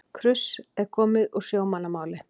Kruss er komið úr sjómannamál.